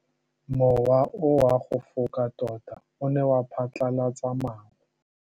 Mowa o wa go foka tota o ne wa phatlalatsa maru.